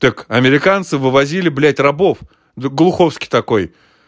так американцы вывозили блядь рабов в глуховский такой